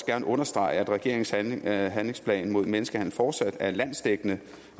gerne understrege at regeringens handlingsplan handlingsplan mod menneskehandel fortsat er landsdækkende